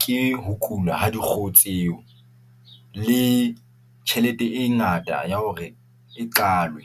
ke ho kula ha dikgoho tseo le tjhelete e ngata ya hore e qalwe.